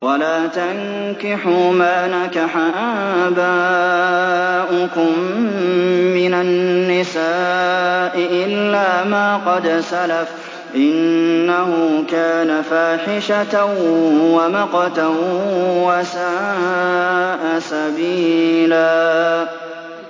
وَلَا تَنكِحُوا مَا نَكَحَ آبَاؤُكُم مِّنَ النِّسَاءِ إِلَّا مَا قَدْ سَلَفَ ۚ إِنَّهُ كَانَ فَاحِشَةً وَمَقْتًا وَسَاءَ سَبِيلًا